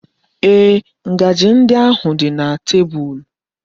Ee, ngaji ndi ahụ nọ na tebụl.